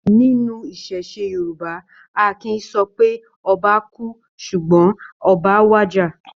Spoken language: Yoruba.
Nínú iṣẹṣe Yorùbá, a kìí sọ pé 'Ọba kú' ṣùgbọ́n 'Oba wàjà'.